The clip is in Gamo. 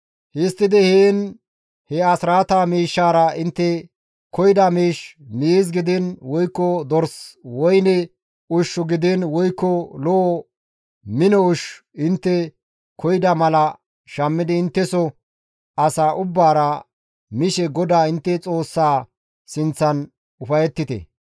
Histtidi heen he asraataa miishshaara intte koyida miish, miiz gidiin woykko dors, woyne ushshu gidiin woykko lo7o mino ushshu intte koyida mala shammidi intteso asa ubbaara mishe GODAA intte Xoossaa sinththan ufayettite.